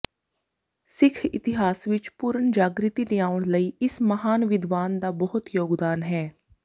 ਸਿੱਖ ਇਤਿਹਾਸ ਵਿੱਚ ਪੁਨਰ ਜਾਗ੍ਰਿਤੀ ਲਿਆਉਣ ਲਈ ਇਸ ਮਹਾਨ ਵਿਦਵਾਨ ਦਾ ਬਹੁਤ ਯੋਗਦਾਨ ਹੈ